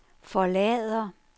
forlader